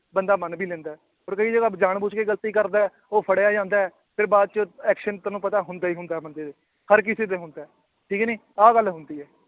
ਬੰਦਾ ਮੰਨ ਵੀ ਲੈਂਦਾ ਹੈ ਪਰ ਕਈ ਜਗ੍ਹਾ ਜਾਣ ਬੁੱਝ ਕੇ ਗ਼ਲਤੀ ਕਰਦਾ ਹੈ, ਉਹ ਫੜਿਆ ਜਾਂਦਾ ਹੈ ਫਿਰ ਬਾਅਦ ਚ action ਤੁਹਾਨੂੰ ਪਤਾ ਹੁੰਦਾ ਹੀ ਹੁੰਦਾ ਹੈ ਬੰਦੇ ਤੇ ਹਰ ਕਿਸੇ ਤੇ ਹੁੰਦਾ ਹੈ, ਠੀਕ ਨੀ ਆਹ ਗੱਲ ਹੁੰਦੀ ਹੈ।